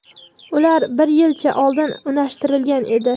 Ular bir yilcha oldin unashtirilgan edi.